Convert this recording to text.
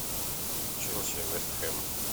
челси вест хэм